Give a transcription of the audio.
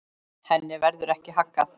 Henni verður ekki haggað.